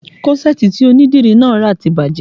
Kọ́ṣẹ̀ẹ̀tì tí onídìrí náà rà ti bàjẹ́